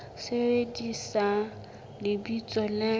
sebedisa lebitso le molaong le